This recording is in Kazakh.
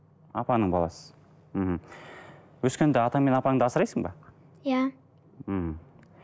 апаңның баласысың мхм өскенде атаң мен апаңды асырайсың ба иә мхм